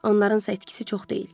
Onlarınsa itkisi çox deyil.